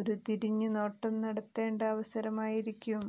ഒരു തിരിഞ്ഞു നോട്ടം നടത്തേണ്ട അവസരമായിരിക്കും